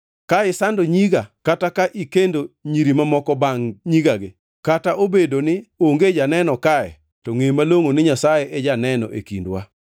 Ka isando nyiga kata ikendo nyiri mamoko bangʼ nyigagi, kata obedoni onge janeno kae, to ngʼe malongʼo ni Nyasaye e janeno e kindwa.”